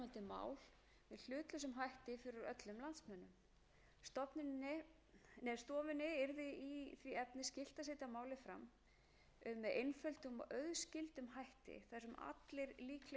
og auðskildum hætti þar sem allir líklegir kostir þess og gallar eru tilgreindir sem og hugsanlegur fjárhagslegur tilkostnaður eða sparnaður fyrir fjárhag ríkisins og fyrir þjóðarbúið í heild mikilvægt